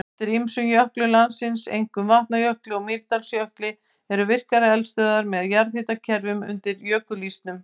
Undir ýmsum jöklum landsins, einkum Vatnajökli og Mýrdalsjökli, eru virkar eldstöðvar með jarðhitakerfum undir jökulísnum.